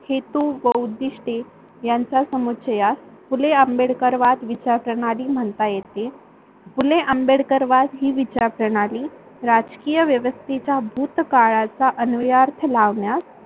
हेतू बहुउद्दिष्टे यांच्या समक्ष्यास फुले आंबेडकरवाद विचार प्रणाली म्हणता येते. फुले आंबेडकरवाद हि विचार प्रणाली राजकीय व्यवस्थेचा भूतकाळाचा अनुयार्थ लावण्यास